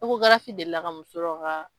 Ekogarafi delila ka muso dɔ ka.